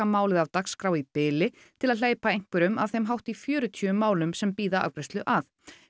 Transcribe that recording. málið af dagskrá í bili til að hleypa einhverjum af þeim hátt í fjörutíu málum sem bíða afgreiðslu að